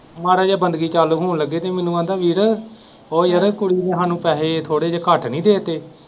ਮਾੜੀ ਜਿਹੀ ਬੰਦਗੀ ਚਾਲੂ ਹੋਣ ਲੱਗੇ ਤੇ ਮੈਨੂੰ ਕਹਿੰਦਾ ਵੀਰੇ ਉਹ ਵੀਰੇ ਕੁੜੀ ਨੇ ਸਾਨੂੰ ਪੈਸੇ ਥੋੜੇ ਜਿਹੇ ਘੱਟ ਨਹੀਂ ਦੇ ਤੇ।